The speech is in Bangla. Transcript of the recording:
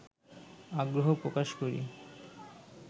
আগ্রহ প্রকাশ করি